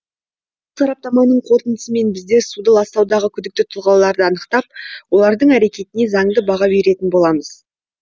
сараптаманың қорытындысымен біздер суды ластаудағы күдікті тұлғаларды анықтап олардың әрекетіне заңды баға беретін боламыз